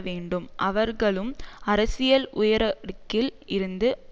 வேண்டும் அவர்களும் அரசியல் உயரடுக்கில் இருந்து